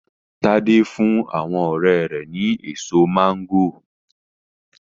Tade fún àwọn ọrẹ́ rẹ̀ ni èso máńgòrò.